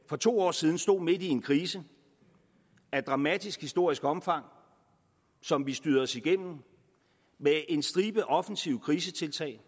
for to år siden stod midt i en krise af dramatisk historisk omfang som vi styrede os igennem med en stribe offensive krisetiltag